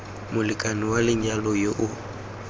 molekane wa lenyalo yo o